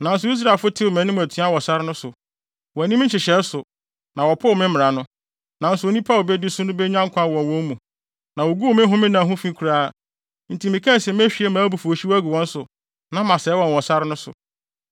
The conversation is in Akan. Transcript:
“ ‘Nanso Israelfo tew mʼanim atua wɔ sare no so. Wɔanni me nhyehyɛe so, na wɔpoo me mmara no, nanso onipa a obedi so no benya nkwa wɔ wɔn mu, na woguu me homenna ho fi koraa. Enti mekaa se mehwie mʼabufuwhyew agu wɔn so na masɛe wɔn wɔ sare no so.